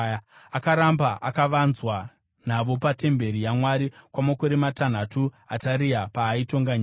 Akaramba akavanzwa navo patemberi yaMwari kwamakore matanhatu Ataria paaitonga nyika.